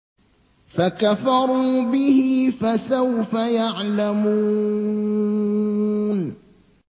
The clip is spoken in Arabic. فَكَفَرُوا بِهِ ۖ فَسَوْفَ يَعْلَمُونَ